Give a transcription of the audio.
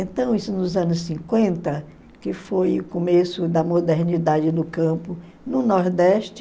Então, isso nos anos cinquenta, que foi o começo da modernidade no campo, no Nordeste,